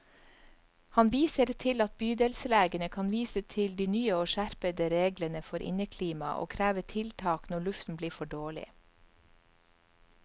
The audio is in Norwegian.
Han viser til at bydelslegene kan vise til de nye og skjerpede reglene for inneklima og kreve tiltak når luften blir for dårlig.